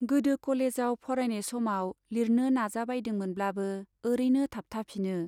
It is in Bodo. गोदो कलेजाव फरायनाय समाव लिरनो नाजाबायदोंमोनब्लाबो ओरैनो थाबथाफिनो।